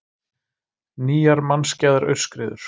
Nýjar mannskæðar aurskriður